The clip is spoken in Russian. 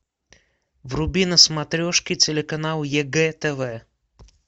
вруби на смотрешке телеканал егэ тв